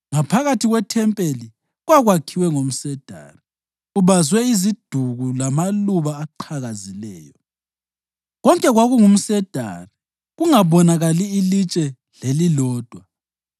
Ngaphakathi kwethempeli kwakwakhiwe ngomsedari, ubazwe iziduku lamaluba aqhakazileyo. Konke kwakungumsedari, kungabonakali litshe lelilodwa.